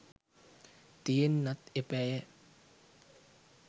තියෙන්නත් එපායැ.